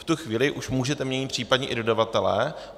V tu chvíli už můžete měnit případně i dodavatele.